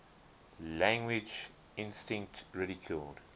language instinct ridiculed